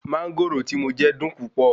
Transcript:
Mánńgòrò tí mo n jẹ dùn púpọ̀